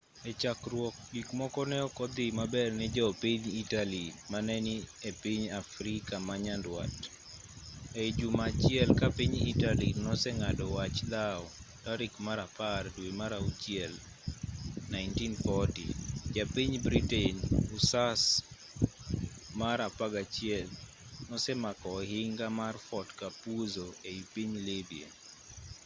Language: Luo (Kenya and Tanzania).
echakruok gik moko neok odhi maber ne jo piny italy mane ni epiny afrika manyandwat ei juma achiel ka piny italy noseng'ado wach dhaw tarik mar apar dwe mar auchiel 1940 ja piny britain hussars mar 11 nosemako ohinga mar fort capuzzo ei piny libya